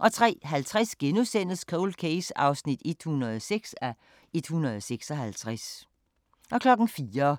03:50: Cold Case (106:156)* 04:40: